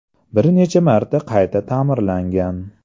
Bir necha marta qayta ta’mirlangan.